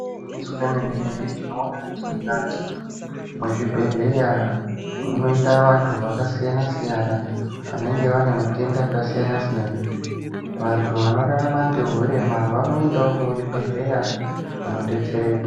Igwinyiso remene-mene, tinoone kuti mukati mezvibhedhlera munoenda vantu vakasiyana-siyana, vanenge vanematenda akasiyana-siyana. Vantu vanorarama ngehurema vanoendawo muchibhedhlera kundodetsereka.